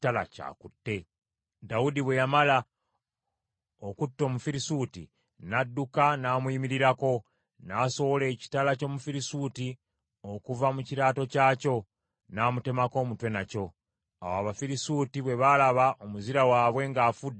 Dawudi bwe yamala okutta Omufirisuuti, n’adduka n’amuyimirirako, n’asowola ekitala ky’Omufiisuuti okuva mu kiraato kyakyo, n’amutemako omutwe nakyo. Awo Abafirisuuti bwe baalaba omuzira waabwe ng’afudde ne badduka.